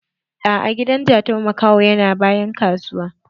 A'a, hidan Jatau makaho yana bayan kasuwa.